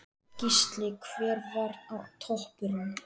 Gísli: Hver var toppurinn?